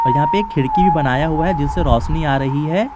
यहाँ पे एक खिड़की बनाया हुआ है जिनसे रोशनी आ रही है।